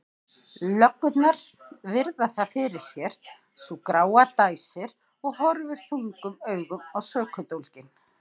Löggurnar virða það fyrir sér, sú gráa dæsir og horfir þungum augum á sökudólginn.